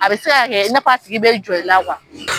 A bɛ se ka kɛ i n'a a sigi bɛ jɔ i la